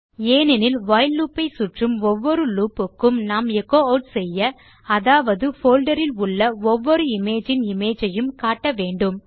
ஏனெனில் while loop ஐ சுற்றும் ஒவ்வொரு லூப் க்கும் நாம் எச்சோ ஆட் செய்ய அதாவது போல்டர் இல் உள்ள ஒவ்வொரு இமேஜ் இன் இமேஜ் ஐயும் காட்ட வேண்டும்